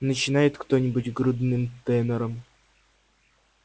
начинает кто-нибудь грудным тенором